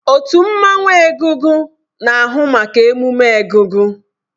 Otu mmanwụ egúngún na-ahụ maka ememme egúngún.